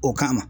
O kama